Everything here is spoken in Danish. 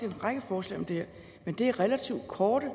en række forslag om det her men det er relativt korte